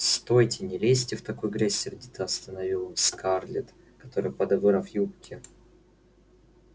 стойте не лезьте в такую грязь сердито остановил он скарлетт которая подобрав юбки